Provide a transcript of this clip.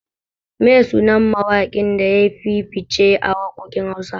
Meye sunan mawaƙin da yafi fishe a waƙoƙin Hausa?